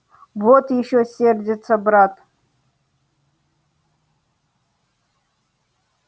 вот ещё сердится брат